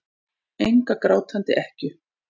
Enga grátandi ekkju.